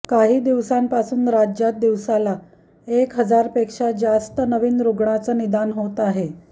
काही दिवसांपासून राज्यात दिवसाला एक हजारपेक्षा जास्त नवीन रुग्णाचं निदान होत आहे